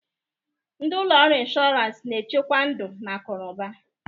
Ndi ụlọ ọrụ ịnshọransị na-echekwa ndụ na akụ n'ụba